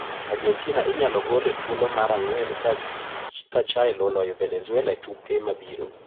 Argentina inyalo gol e thuolo mar ang`wen ka Chile oloyo Venezuela e tuke mabiro.